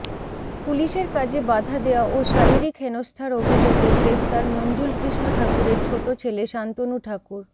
পুলিশের কাজে বাধা দেওয়া ও শারীরিক হেনস্থার অভিযোগে গ্রেফতার মঞ্জুলকৃষ্ণ ঠাকুরের ছোট ছেলে শান্তনু ঠাকুর